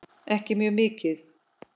Ekki mjög mikið.